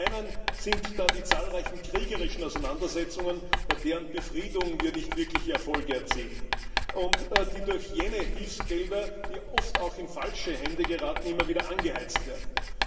Zum einen sind da die zahlreichen kriegerischen Auseinandersetzungen, bei deren Befriedung wir nicht wirkliche Erfolge erzielen und die durch jene Hilfsgelder, die oft auch in falsche Hände geraten, immer wieder angeheizt werden.